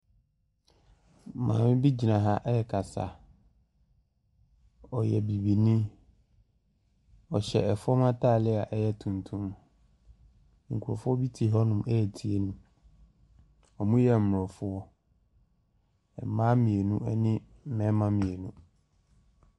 Maame bi gyina ha rekasa. Ɔyɛ bibini. Ɔhyɛ fam atare a ɛyɛ tuntum. Nkurɔfoɔ bi te hɔnom retie no. wɔyɛ aborɔfo. Mmaa mmienu ne mmarima mmienu.